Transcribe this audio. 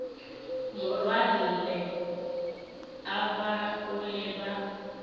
morwarragwe a bag ole ba